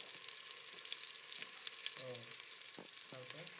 ওহ তারপর?